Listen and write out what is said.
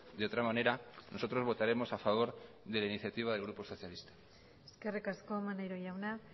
de otra manera nosotros votaremos a favor de la iniciativa del grupo socialista eskerrik asko maneiro jauna